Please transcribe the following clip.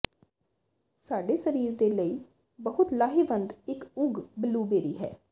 ਸਾਡੇ ਸਰੀਰ ਦੇ ਲਈ ਬਹੁਤ ਲਾਹੇਵੰਦ ਇਕ ਉਗ ਬਲੂਬੇਰੀ ਹੈ